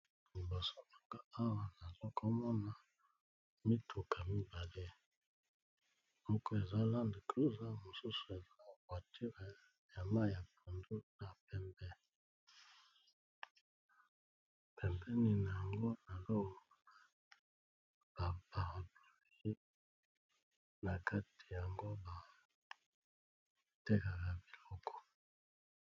Liboso nanga awa nazokomona mituka mibale moko eza land cruse mosusu eza voiture ya mayi ya pondu na pembe pembeni na yango nazomona ba parapluie na kati nango batekaka biloko.